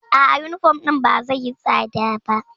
A'a, yunifom ɗin ba zai yi tsada ba.